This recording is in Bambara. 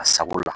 A sabu la